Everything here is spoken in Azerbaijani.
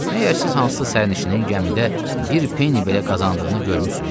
Məyər siz hansısa sərnişinin gəmidə bir peni belə qazandığını görmüsüz?